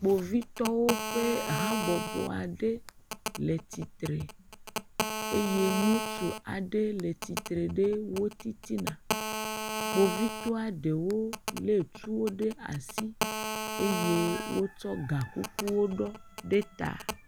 Kpovitɔwo ƒe habɔbɔ aɖe le tsitre eye ŋutsu aɖe le tsitre ɖe wo titina. Kpovitɔa ɖewo lé tuwo ɖe asi eye wotsɔ gakukuwo ɖɔ ɖe ta.